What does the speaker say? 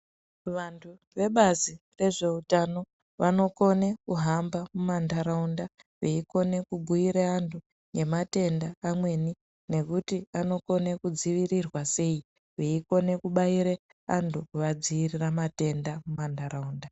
Vantu vebazi rezveutano vanokone kuhamba mumantaraunda, veikone kubhuire anhu ngematenda amweni ,nekuti anokone kudzivirirwa sei, veikone kubaire vantu vavadziirira matenda mumantaraunda.